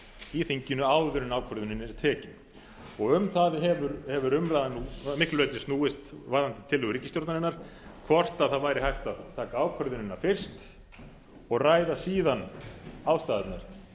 í þinginu áður en ákvörðunin er tekin um það hefur umræðan nú að miklu leyti snúist varðandi tillögu ríkisstjórnarinnar hvort það væri hægt að taka ákvörðunin fyrst og ræða síðan ástæðurnar